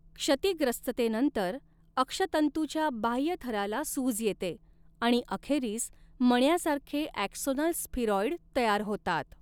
क्षतिग्रस्ततेनंतर अक्षतंतुच्या बाह्य थराला सूज येते आणि अखेरीस मण्यासारखे ॲक्सोनल स्फिरॉइड तयार होतात.